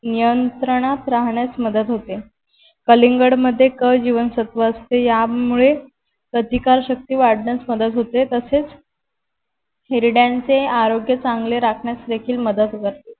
नियंत्रणात राहण्यास मदत होते कलिंगड मध्ये क जीवनसत्व असते यामुळे प्रतिकार शक्ति वाढण्यास मदत होते तसेच हिरड्यांचे आरोग्य चांगले राखण्यास देखील मदत करते